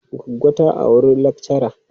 Goggo ta auri lakchara.